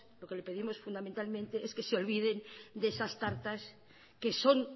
lo que le pedimos fundamentalmente es que se olviden de esas tartas que son